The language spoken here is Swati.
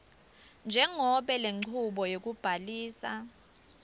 njengobe lenchubo yekubhalisa